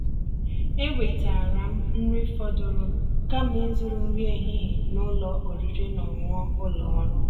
èwètáara m nrí fọ̀dụ̀rụ̀ kàma ízụ̀rụ̀ nrí èhihie n'ụ́lọ̀ ọ̀rị́rị́ ná ọ̀ṅụ̀ṅụ̀ ụ́lọ̀ ọ́rụ̀.